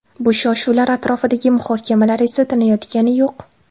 Bu shov-shuvlar atrofidagi muhokamalar esa tinayotgani yo‘q.